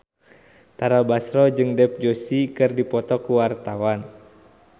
Tara Basro jeung Dev Joshi keur dipoto ku wartawan